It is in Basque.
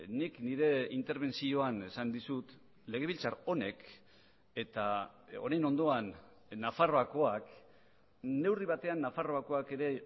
nik nire interbentzioan esan dizut legebiltzar honek eta honen ondoan nafarroakoak neurri batean nafarroakoak ere